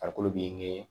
Farikolo be